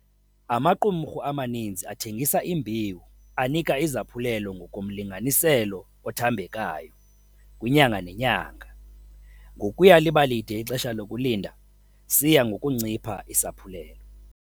Amaqumrhu amaninzi athengisa imbewu anika izaphulelo ngokomlinganiselo othambekayo, kwinyanga nenyanga - ngokuya liba lide ixesha lokulinda siya ngokuncipha isaphulelo.